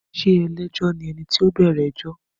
Ṣé ẹlẹ́jọ́ ni ẹni tí ó bẹ̀rẹ̀ ẹjọ́?